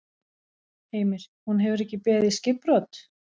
Heimir: Hún hefur ekki beðið skipbrot?